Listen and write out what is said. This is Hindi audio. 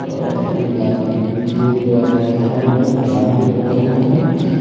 और एक आदमी एक दो आदमी खड़ा भी है और ड्राम भी रखा हुआ है।